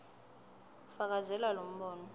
fakazela lo mbono